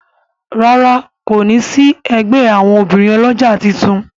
ràrá kò ní sí ègbé àwọn obìrin olójà títún.